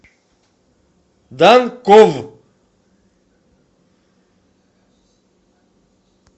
данков